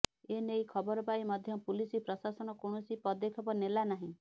ଏ ନେଇ ଖବର ପାଇ ମଧ୍ୟ ପୁଲିସ ପ୍ରଶାସନ କୌଣସି ପଦକ୍ଷେପ ନେଲାନାହିଁ